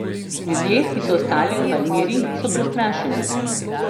Ljudje, ki so ostali v Palmiri, so prestrašeni.